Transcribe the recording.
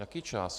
Jaký čas?